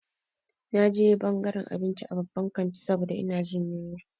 Na je ɓangaran abinci a babban kanti saboda ina jin yunwa.